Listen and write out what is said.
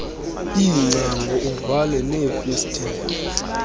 iingcango uvale neefestile